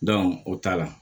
o ta la